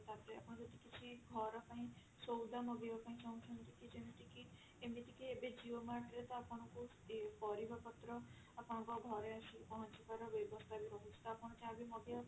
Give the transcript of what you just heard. ତାପରେ ଆପଣ ଯଦି କିଛି ଘର ପାଇଁ ସଉଦା ମଗେଇବା ପାଇଁ ଚାହୁଁଛନ୍ତି କି ଯେମତି କି ଏମିତି କି ଏବେ ନୂଆ dress ଆପଣଙ୍କୁ ଏ ପରିବା ପତ୍ର ଆପଣଙ୍କ ଘରେ ଆସିକି ପହଞ୍ଚିବାର ବ୍ୟବସ୍ତା ବି ରହୁଛି ତ ଆପଣ ଯାହା ବି ମଗେଇବା ପାଇଁ